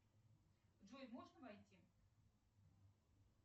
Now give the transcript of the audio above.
джой можно войти